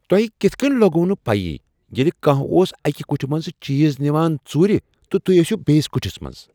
تۄہہ کتھ کٔنۍ لوٚگوٕ نہٕ پیی ییٚلہ کانٛہہ اوس اکہ کٹھِ منٛزٕ چیز نوان ژوٗرِ تہٕ تُہۍ ٲسوٕ بیٚیس کٹھس منٛز؟